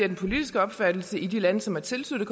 den politiske opfattelse i de lande som har tilsluttet